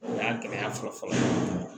O y'a gɛlɛya fɔlɔ fɔlɔ